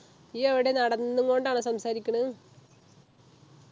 യ്യ് എവിടെ നടന്നും കൊണ്ടാണോ സംസാരിക്കുണ്